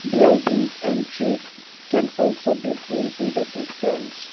bulidings and trees can also be seen in the distance.